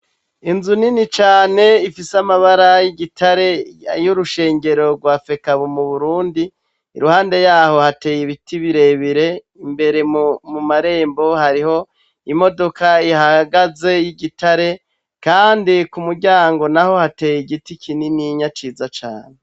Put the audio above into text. Inzu nini cane ifise amabara y'igitare y'urushengero rwa fekabu m'uburundi. Iruhande yaho hateye ibiti birebire, imbere mumarembo hariho imodoka ihahagaze y'igitare kandi k'umuryango naho hateye igiti kininiya ciza cane.